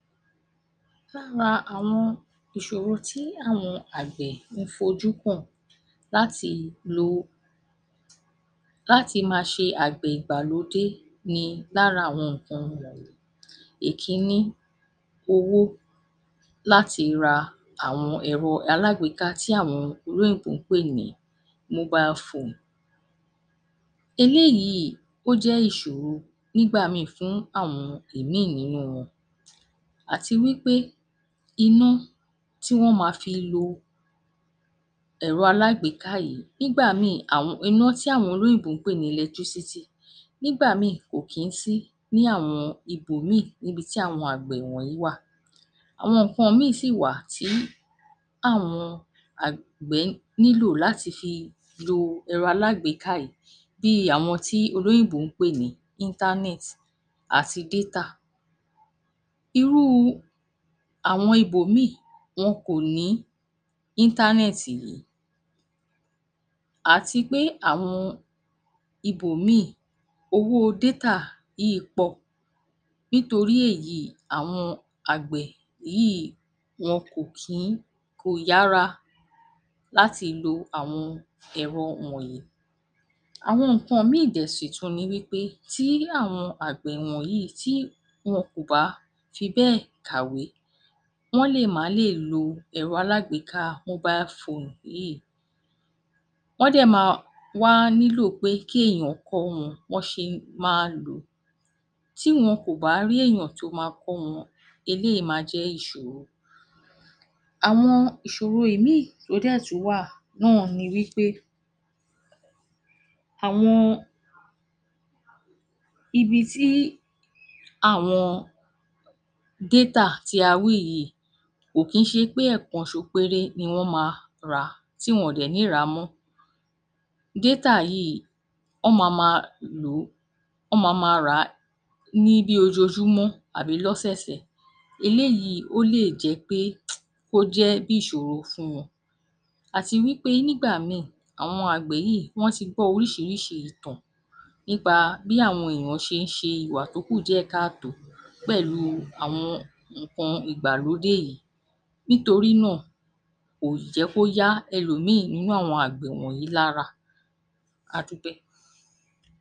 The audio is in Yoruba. Lára àwọn ìṣòro ti àwọn àgbẹ̀ ǹ fojú kaǹ láti lè láti máa ṣe àgbẹ̀ ìgbàlódé ni: Lára wọn ni- ekínní, owó. Láti ra ẹ̀rọ alágbèéká tí àwọn olóyìnbó ń pè ní mobile phone. Eléyìí jẹ́ ìṣoro fún àwọn míìì nínú wọn. Àti wí pé iná tí wọ́n máa fi lo ẹ̀rọ alágbèéká yìí nígbà míìì, iná tí àwọn olóyìnbó ń pè ní electricity níbà míìì kò kì ń sí ní àwọn ibòmíì níbi tí àwọn àgbẹ̀ wọ̀nyí wa. Awọn nǹkan m̀íràn sì wà tí àwọn àgbẹ̀ nílò lati fi lo ẹ̀rọ alágbèéká yìí bí àwọn ti olóyìnbó ń pè ní internet àti Déta[Data]. Irú àwọn ibòmíì wọn kò ní internet níbẹ̀ àti pé àwọn ibòmíì owó détà yìí pọ̀ nítorí èyí, àwọn àgbẹ̀ yìí wọn kò ti kò yára láti lo àwọn ẹ̀rọ wọ̀nyí. Àwọn nǹkan mìíràn dẹ̀ sí tún ni wí pé irú àwọn àgbẹ̀ wọ̀nyí tí wọn kò bá fi bẹ́ẹ̀ kàwé wọ́n lè má lè lo ẹ̀rọ alágbèéká mobile phone yìí. Wọ́n dẹ̀ màa wá níló pé kí èèyàn kọ́ wọn bí wọn ṣe màa lò ó. Tí wọn kò bá rí èèyàn tó máa kọ́ wọn, eléyìí máa jẹ́ ìṣòro. Àwọn ìṣòro mìíì dẹ̀ sì tún wà náà ni wí pé àwọn ibi tí àwọn détà tí a wí yìí kò kìí ṣe pé èèkan ṣoṣo péré ni wọ́n máa rà tí wọn dẹ̀ ní rà á mọ́, détà yìí, wọń máa máa lò ó, wọ́n máa máa rà á ní b´ ojoojúmọ́ àbí lọ́sọ̀ọ̀sẹ̀. Eléyìi ó lè jẹ́ pé kó jẹ́ ìṣòro fún wọn. Àti wí pé nígbà míì àwọn àgbẹ̀ yíì wọ́n ti gbọ́ oríṣìíríṣìí ìtàn nípa bí àwọn èèyan ṣe ń ṣe ìwà tó kù díẹ̀-káà-tó pẹ̀lú àwọn nǹkan ìgbàlódé yìí nítori náà kò jẹ́ kó yá elòmíì nínú àwọn àgbẹ̀ wọ̀nyí lára. A dúpẹ́.